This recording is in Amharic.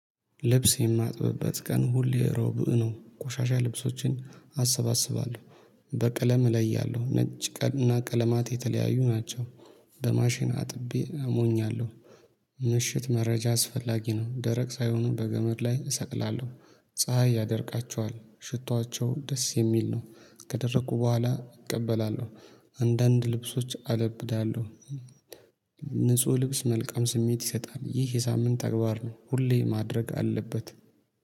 ልብስ የማጥብበት ቀን ሁሌ እሮብ ነው ቆሻሻ ልብሶችን አሰባስባለሁ። በቀለም እለያለሁ ነጭ እና ቀለማት የተለያዩ ናቸው። በማሽን አጥቤ አሞኛለሁ ምሽት መረጃ አስፈላጊ ነው ደረቅ ሳይሆኑ በገመድ ላይ እሰቅላለሁ ፀሀይ ያደርቃቸዋል ሽቷቸው ደስ የሚል ነው ከደረኩ በኋላ እቀበላለሁ። አንዳንድ ልብሶች አለብዳለሁ። ንጹህ ልብስ መልካም ስሜት ይሰጣል ይህ የሳምንት ተግባር ነው ሁሌ ማድረግ አለበት